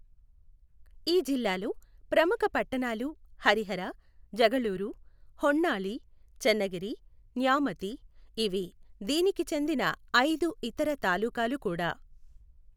ఈ జిల్లాలో ప్రముఖ పట్టణాలు హరిహర, జగళూరు, హొన్నాళి చెన్నగిరి, న్యామతి, ఇవి దీనికి చెందిన ఐదు ఇతర తాలూకాలు కూడా.